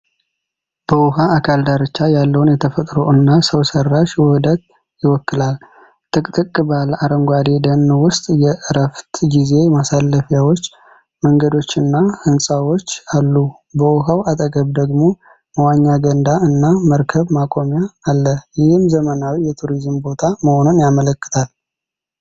በውሃ አካል ዳርቻ ያለውን የተፈጥሮ እና ሰው ሰራሽ ውህደት ይወክላል። ጥቅጥቅ ባለ አረንጓዴ ደን ውስጥ የዕረፍት ጊዜ ማሳለፊያዎች፣ መንገዶችና ህንጻዎች አሉ። በውሃው አጠገብ ደግሞ መዋኛ ገንዳ እና መርከብ ማቆሚያ አለ፤ ይህም ዘመናዊ የቱሪዝም ቦታ መሆኑን ያመለክታል።